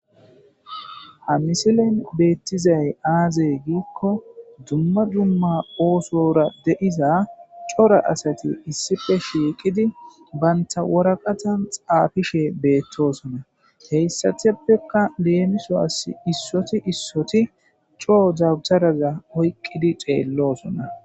Ha misilen beettizay aazey giikko dumma dumma oosora dediza cora asati issife shiiqidi baynta woraqatan xaafishe beettosona heyssateppeka leemiso as issoti issoti coo zabtaraza oyqqidi xeelloosona.